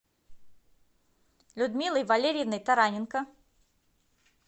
людмилой валерьевной тараненко